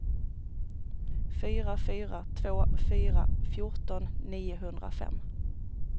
fyra fyra två fyra fjorton niohundrafem